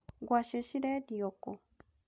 Ngwacĩ cirendio kũũ?